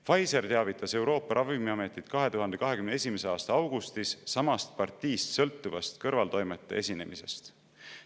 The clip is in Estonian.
Pfizer teavitas Euroopa Ravimiametit 2021. aasta augustis samast partiist sõltuvast kõrvaltoimete esinemisest.